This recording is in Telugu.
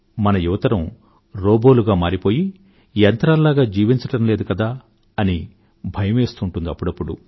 మన యువతరం మర మనుషులలాగా మారిపోయి యంత్రాల్లాగ జీవించడం లేదు కదా అని భయం వేస్తూ ఉంటుంది అప్పుడప్పుడు